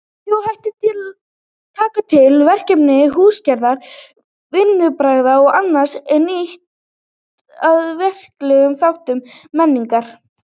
Þjóðhættir taka til verkmenningar, húsagerðar, vinnubragða og annars er lýtur að verklegum þáttum menningar.